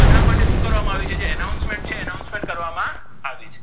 બધા માટે શુ કર્વામા આવિ છે જે announcement announcement કરવામા આવિ છે